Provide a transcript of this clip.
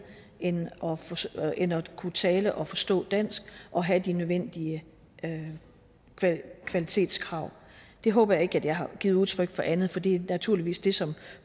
end end at kunne tale og forstå dansk og have de nødvendige kvalitetskrav jeg håber ikke jeg har givet udtryk for andet for det er naturligvis det som